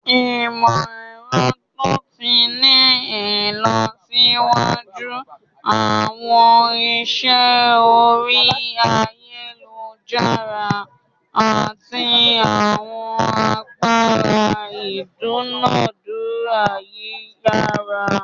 Imọ-ẹrọ to ti ni ilọsiwaju, awọn iṣẹ ori ayelujara, ati awọn agbara idunadura yiyara.